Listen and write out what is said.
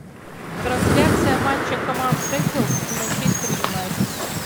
трансляция матча команд шеффилд и манчестер юнайтед